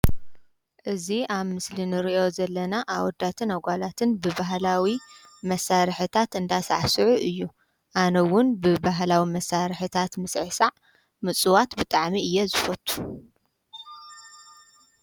እዚ ኣብ ምስሊ ንረእዮ ዘለና ኣወዳትን ኣጓላትን ብባህላዊ መሳርሕታት አንዳሳዕስዑ እዩ። ኣነእውን ብባህላዊ መሳርሕታት ምስዕሳዕ ምፅዋት ብጣዕሚ እየ ዝፈቱ።